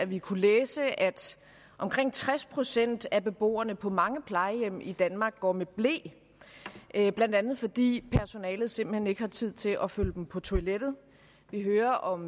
vi kunne læse at omkring tres procent af beboerne på mange plejehjem i danmark går med ble blandt andet fordi personalet simpelt hen ikke har tid til at følge dem på toilettet vi hører om